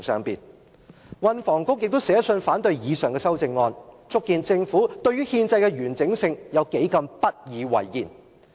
運輸及房屋局亦寫信反對以上修正案，足見政府對於憲制的完整有多麼不以為然。